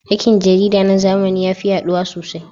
Aikin jarida na zamani ya fi yaɗuwa sosai.